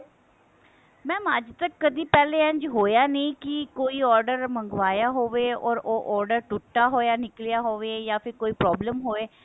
mam ਅੱਜ ਤੱਕ ਕਦੀ ਪਹਿਲੇ ਇੰਝ ਹੋਇਆ ਨਹੀਂ ਕੀ ਕੋਈ order ਮੰਗਵਾਇਆ ਹੋਵੇ or ਉਹ order ਟੁੱਟਾ ਹੋਇਆ ਨਿੱਕਲਿਆ ਹੋਵੇ ਜਾਂ ਤੇ ਕੋਈ problem ਹੋਵੇ